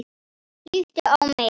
Líttu á mig.